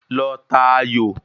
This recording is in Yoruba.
Lọ ta aayò!